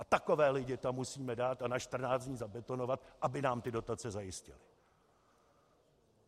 A takové lidi tam musíme dát a na 14 dní zabetonovat, aby nám ty dotace zajistili.